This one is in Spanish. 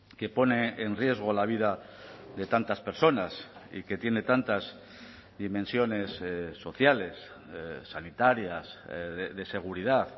que pone en riesgo la vida de tantas personas y que tiene tantas dimensiones sociales sanitarias de seguridad